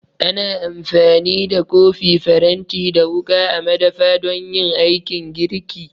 Ana amfani da kofi, faranti da wuƙa a madafi don yin aikin girki